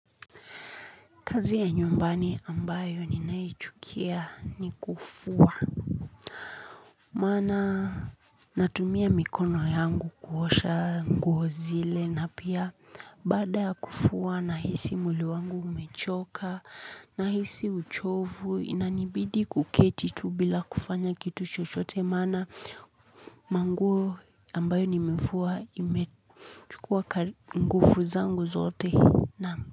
Kazi ya nyumbani ambayo ninaichukia ni kufua. Maana natumia mikono yangu kuosha nguo zile na pia baada ya kufua nahisi mwili wangu umechoka nahisi uchovu inanibidi kuketi tu bila kufanya kitu chochote maana manguo ambayo nimefua imechukua nguvu zangu zote.